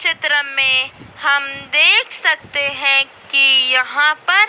चित्र में हम देख सकते हैं कि यहां पर--